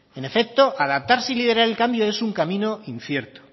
en efecto adaptar y liderar el cambio es un camino incierto